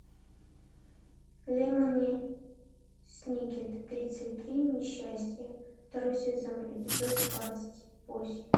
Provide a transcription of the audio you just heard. лемони сникет тридцать три несчастья второй сезон эпизод двадцать восемь